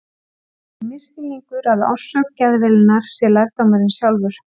Það er þó misskilningur að orsök geðveilunnar sé lærdómurinn sjálfur.